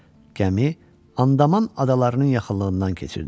Gəmi Andaman adalarının yaxınlığından keçirdi.